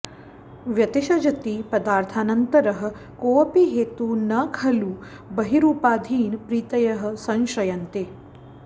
व्यतिषजति पदार्थानन्तरः कोऽपि हेतुः न खलु बहिरूपाधीन प्रीतयः संश्रयन्ते